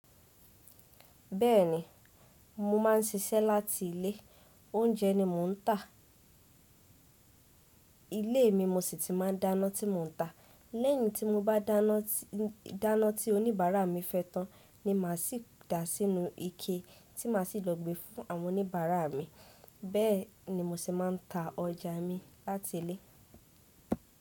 Bẹ́ẹ̀ni, mo máà ń ṣiṣẹ́ láti ilé. Oúnjẹ ni mò ń tà. Ilé mi mo sì tíì máa ń dáná tí mò ń tà. Lẹ́yìn tí mo bá dáná tí oníbàárà mi fẹ́ tán ni màá sì dá a sínú ike tí màá sì lò gbé e fún àwọn oníbàárà mi. Bẹ́ẹ̀ ni mo sì máa ń ta ọjà mi láti ilé.